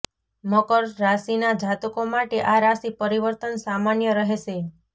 મકર રાશિના જાતકો માટે આ રાશિ પરિવર્તન સામાન્ય રહેશે